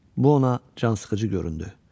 Bu ona cansıxıcı göründü.